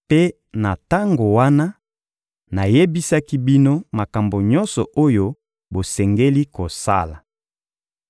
Mpe na tango wana, nayebisaki bino makambo nyonso oyo bosengeli kosala.